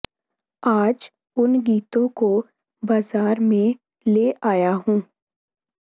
ਆਜ ਉਨ ਗੀਤੋਂ ਕੋ ਬਾਜ਼ਾਰ ਮੇਂ ਲੇ ਆਯਾ ਹੂੰ